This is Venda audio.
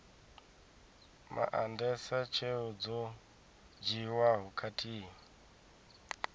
maandesa tsheo dzo dzhiiwaho khathihi